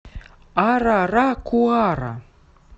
араракуара